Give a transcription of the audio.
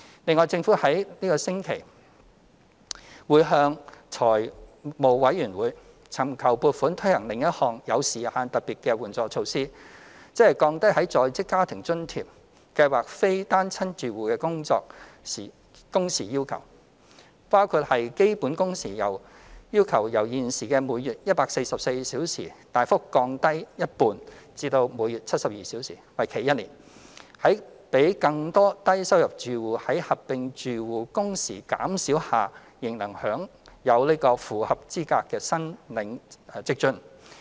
另外，政府會於本星期向立法會財務委員會尋求撥款推行另一項有時限特別援助措施，即降低在職家庭津貼計劃非單親住戶的工時要求，包括把基本工時要求由現時每月144小時大幅降低一半至每月72小時，為期1年，使更多低收入住戶在合併住戶工時減少下仍能符合資格申領職津。